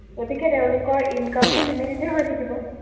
গতিকে তেওঁলোকৰ income টোও limited এ হৈ থাকিব।